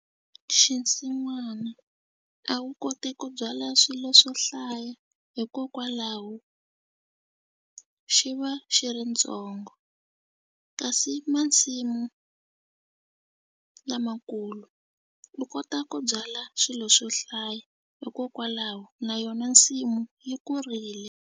Xinsin'wana a wu koti ku byala swilo swo hlaya hikokwalaho xi va xi ri ntsongo kasi masimu lamakulu u kota ku byala swilo swo hlaya hikokwalaho na yona nsimu yi kurile.